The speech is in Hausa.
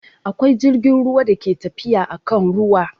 Akwai jirgin ruwa da ke tafiya akan ruwa